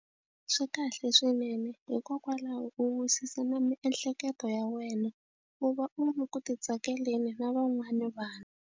Swi kahle swinene hikokwalaho u wisisa na miehleketo ya wena u va u ri ku ti tsakeleni na van'wana vanhu.